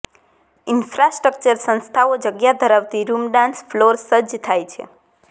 infrastructure સંસ્થાઓ જગ્યા ધરાવતી રૂમ ડાન્સ ફ્લોર સજ્જ થાય છે